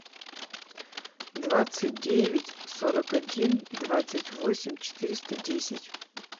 двадцать девять сорок один двадцать восемь четыреста десять